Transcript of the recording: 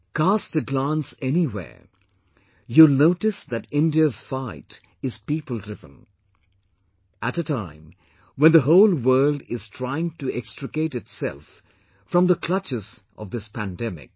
Cast a glance anywhere, you'll notice that India's fight is people driven...at a time when the whole world is trying to extricate itself from the clutches of this pandemic